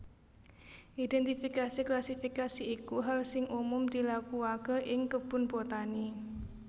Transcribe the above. Identifikasi klasifikasi iku hal sing umum dilakuake ing kebun botani